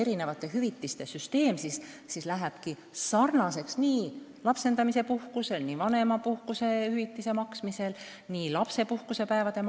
Erinevate hüvitiste arvutamise süsteem lähebki sarnaseks: seda kasutatakse, kui tegu on lapsendajapuhkusega, vanemapuhkuse ja -hüvitisega ja lapsepuhkuse päevadega.